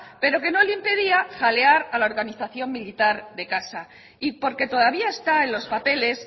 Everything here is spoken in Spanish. pero que no le impedía jalear a la organización militar de casa y porque todavía está en los papeles